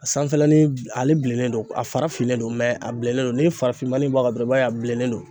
A sanfɛlanin ale bilennen don a fara finnen don a bilennen don ni farafinmannin in bɔ a kan dɔrɔn i b'a ye a bilennen don